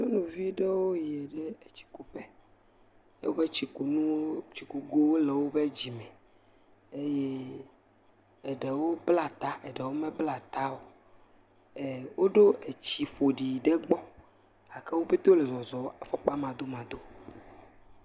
Nyɔnuvi aɖewo yi ɖe etsikuƒe. Woƒe tsikunuwo tsikugowo le woƒe dzime. Eye eɖewo bla ta eɖewo mebla ta o. Woɖo tsi ƒoɖi aɖewo gbɔ gake wo pɛte wole zɔzɔm afɔkpa madomadoe.